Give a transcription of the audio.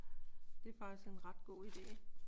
Det er faktisk en ret god idé.